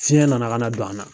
Fiɲɛ nana ka na don an na